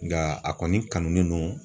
Nga a kɔni kanunen no